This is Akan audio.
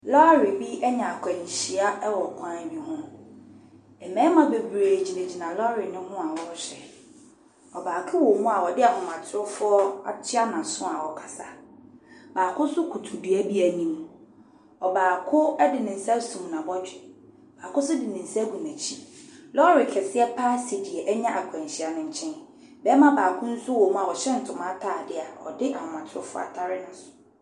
Lɔri bi enya akwɛnhyia ɛwɔ kwan bi hu. Mmɛɛma bebree gyinagyina lɔri no ho a wɔɔhwɛ. Ɔbaako wɔ mu a ɔdi ahomatrufu atua naaso a ɔkasa, baako so kutu dua bi enim, ɔbaako ɛdi nensa esum nabɔdwe, baako so di nensa egu nekyi. Lɔri kɛseɛ paaa esi nea enya akwɛnhyia no nkyɛn. Bɛɛma baako so wo mu a ɔhyɛ ntoma ataadeɛ a ɔdi ahomatrufu atare naasu.